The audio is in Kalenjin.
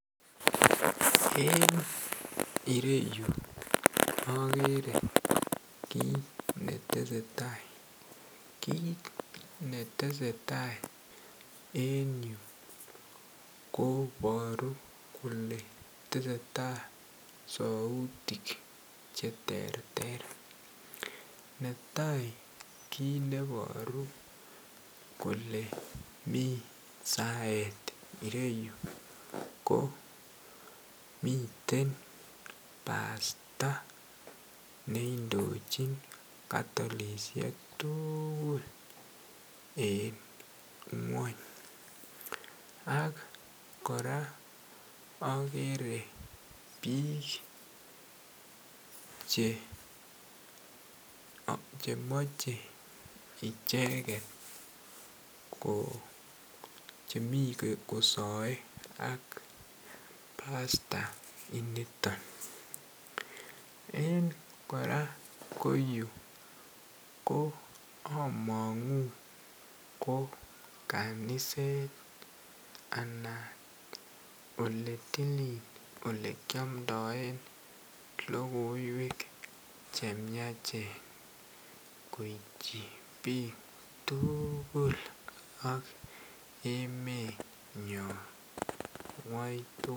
Eng ireeyuu akeree kiit netesetaii koporuu kolee tesetaii sautik cheterter kiit netaii neboruu kolee tesetaii sautik ko miten pastor neindochin katolishek tukul en ngwony koraa akeree biik che mochee icheket mii kosaei ak pastor nito koraa amangun kolee koot nekiombdoei lokoiwek chmyach koitchii pikk